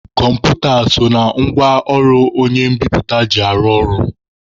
Kọmputa so n'otu ngwa ọrụ onye mbiputa ji arụ ọrụ.